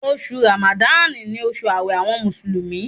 Oṣù Ràmádánì ni oṣù ààwẹ̀ àwọn Mùsùlùmí